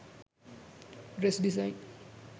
dress design